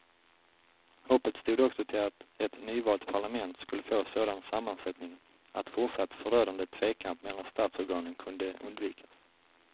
Hoppet stod också till att ett nyvalt parlament skulle få sådan sammansättning att fortsatt förödande tvekamp mellan statsorganen kunde undvikas.